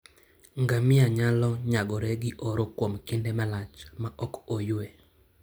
Ngamia nyalo nyagore gi oro kuom kinde malach maok oyue.